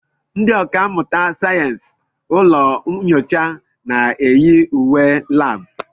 Ndị ọkà mmụta sayensị ụlọ nyocha na-eyi uwe labu.